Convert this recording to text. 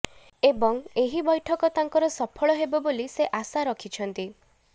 ଏବଂ ଏହି ବୈଠକ ତାଙ୍କର ସଫଳ ହେବ ବୋଲି ସେ ଆଶା ରଖିଛନ୍ତି